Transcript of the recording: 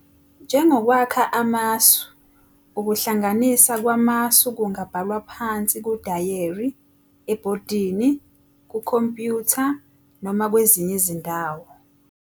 Njengokwakha amasu, ukuhlanganisa kwamasu kungabhalwa phansi kudayeri, ebhodini, kukhompyutha noma kwezinye izindawo.